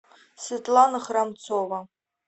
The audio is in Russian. светлана храмцова